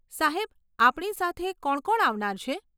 સાહેબ, આપણી સાથે કોણ કોણ આવનાર છે?